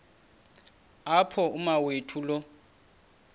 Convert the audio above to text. apho umawethu lo